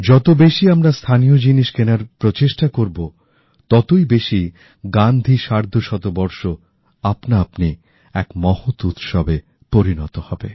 যত বেশি আমরা লোকাল জিনিস কেনার প্রচেষ্টা করি ততই বেশি গান্ধী ১৫০ আপনাআপনি এক মহৎ উৎসবে পরিনত হবে